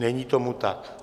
Není tomu tak.